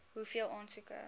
hoeveel aansoeke